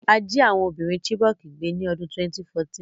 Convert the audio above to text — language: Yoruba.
A jí àwon ọmọbìrin Chibok gbé ni odún 2014